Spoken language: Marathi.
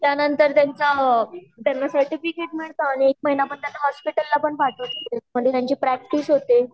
त्या नंतर त्यांना सर्टिफिकेट मिळता आणि एक महिना भर त्यांना हॉस्पिटल मधे पण पठावता त्यात त्यांची प्रैक्टिस होते